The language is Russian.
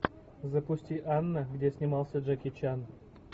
запусти анна где снимался джеки чан